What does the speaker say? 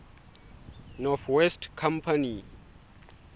north west company